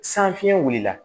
San fiɲɛ wulila